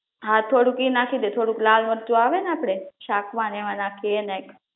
હા થોડુક ઈ નાખી દે થોડુક લાલ મરચું આવે ને આપડે શાક મા ને એમા નાખીએ એ નાખ